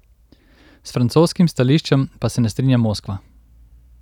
S francoskim stališčem pa se ne strinja Moskva.